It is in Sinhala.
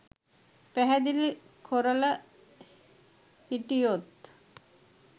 පැහදිලි කොරල හිටියොත්?